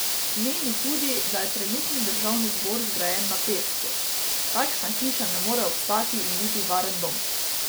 Meni tudi, da je trenutni državni zbor zgrajen na pesku: "Takšna hiša ne more obstati in biti varen dom.